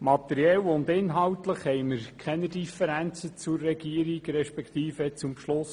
Materiell und inhaltlich haben wir keine Differenzen zur Regierung respektive zum Beschluss